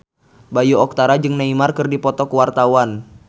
Bayu Octara jeung Neymar keur dipoto ku wartawan